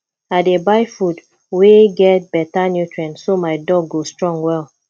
i dey buy food wey get better nutrients so my dog go strong well